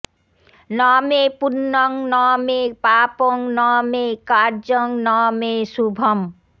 ন মে পুণ্যং ন মে পাপং ন মে কার্যং ন মে শুভম্